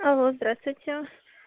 алло здравствуйте